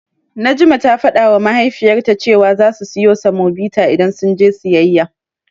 Najma ta fadawa Mahaifiyarta cewa zasu siyo semobita idan sun je siyayya.